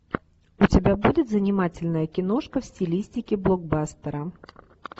у тебя будет занимательная киношка в стилистике блокбастера